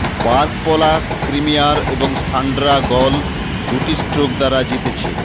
park Paula ক্রিমিয়ার এবং Sandra Gal দুটি স্ট্রোক দ্বারা জিতেছে